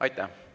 Aitäh!